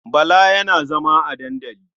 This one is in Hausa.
Bala yana zama a dandali.